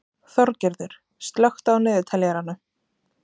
Þorgerður, slökktu á niðurteljaranum.